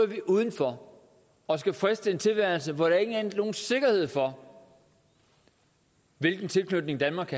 vi udenfor og skal friste en tilværelse hvor der ikke er nogen sikkerhed for hvilken tilknytning danmark